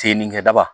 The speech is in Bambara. Sennikɛ daba